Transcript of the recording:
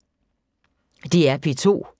DR P2